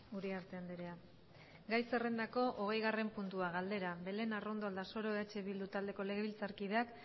uriarte andrea gai zerrendako hogeigarren puntua galdera belén arrondo aldasoro eh bildu taldeko legebiltzarkideak